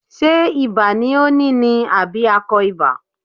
Ṣé ibà ni ó ní ni àbí akọ ibà.